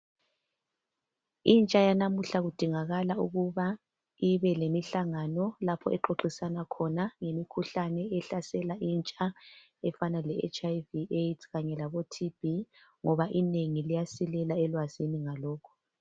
Intsha yanamuhla kudingakala ukuba ibelemihlangano lapho exoxisana khona ngemikhuhlane ehlasela intsha efana leHIV, Aids leTB ngoba inengi liyasilela ngalokho.